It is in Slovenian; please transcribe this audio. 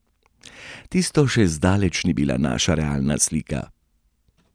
Tisto še zdaleč ni bila naša realna slika.